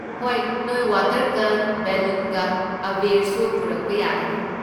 ꯍꯣꯏ, ꯅꯣꯏ ꯋꯥꯇꯔ ꯒꯟꯒ ꯕꯦꯂꯨꯟꯒ, ꯑꯥꯕꯦꯔꯁꯨ ꯄꯨꯔꯛꯄ ꯌꯥꯒꯅꯤ꯫